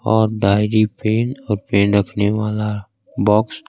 और diary pin pen रहने वाला बॉक्स --